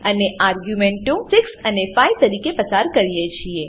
અને આર્ગ્યુંમેંટો 6 અને 5 તરીકે પસાર કરીએ કરીએ છીએ